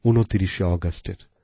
২৯আগস্টের